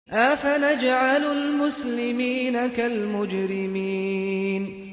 أَفَنَجْعَلُ الْمُسْلِمِينَ كَالْمُجْرِمِينَ